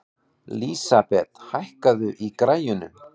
Lísabet, hækkaðu í græjunum.